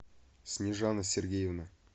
снежана сергеевна